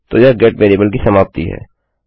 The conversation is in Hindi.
तो यह गेट वेरिएबल की समाप्ति है